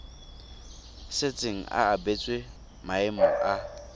setseng a abetswe maemo a